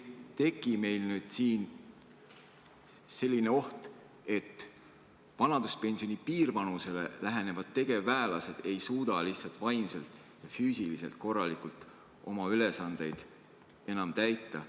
Ja kas ei teki selline oht, et vanaduspensioni piirvanusele lähenevad tegevväelased ei suuda lihtsalt kas vaimselt või füüsiliselt korralikult oma ülesandeid enam täita?